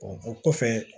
o kɔfɛ